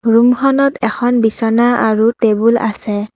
ৰুমখনত এখন বিছনা আৰু টেবুল আছে।